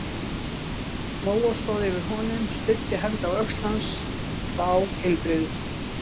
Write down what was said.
Lóa stóð yfir honum, studdi hendi á öxl hans- þá heilbrigðu